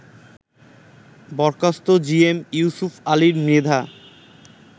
বরখাস্ত জিএম ইউসুপ আলী মৃধা